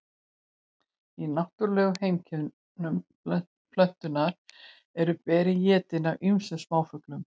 í náttúrulegum heimkynnum plöntunnar eru berin étin af ýmsum smáfuglum